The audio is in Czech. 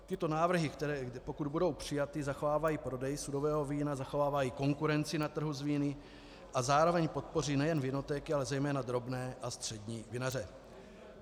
Tyto návrhy, které pokud budou přijaty, zachovávají prodej sudového vína, zachovávají konkurenci na trhu s víny a zároveň podpoří nejen vinotéky, ale zejména drobné a střední vinaře.